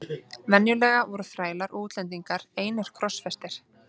Venjulega voru þrælar og útlendingar einir krossfestir.